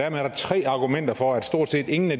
er der tre argumenter for at stort set ingen af